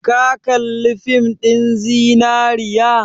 Ka kalli fin ɗin zinariya?